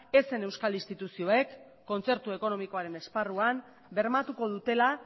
ez zen euskal instituzioek kontzertu ekonomikoaren esparrua bermatuko dutela